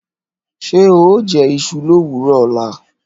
Ṣé oó jẹ́ iṣu lówùrọ ọ̀la?